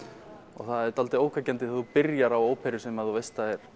og það er dálítið ógnvekjandi þegar þú byrjar á óperu sem þú veist að er